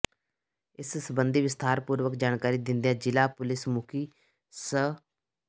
ਇਸ ਸਬੰਧੀ ਵਿਸਥਾਰਪੂਰਵਕ ਜਾਣਕਾਰੀ ਦਿੰਦਿਆਂ ਜ਼ਿਲ੍ਹਾ ਪੁਲਿਸ ਮੁੱਖੀ ਸ